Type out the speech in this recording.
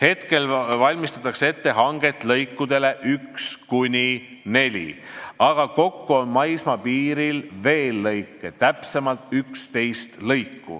Praegu valmistatakse ette lõikude 1–4 hanget, aga kokku on maismaapiiril veel lõike, täpsemalt 11.